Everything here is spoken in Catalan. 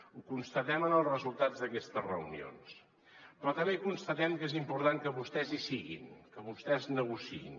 ho cons·tatem en els resultats d’aquestes reunions però també constatem que és important que vostès hi siguin que vostès negociïn